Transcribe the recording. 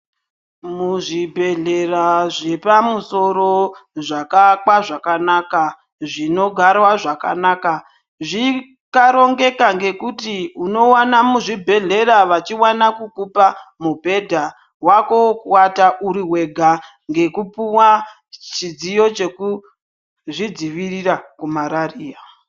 Muzvibhedlera zvepamusoro zvakaakwa zvakanaka ,zvinogarwa zvakanaka. Zvikarongeka ngekuti unowana muzvibhedlera vachiwana kukupa mubhedha wako wokuvata uri wega, ngekupuwa chidziyo chekuzvidzivirira kumararia.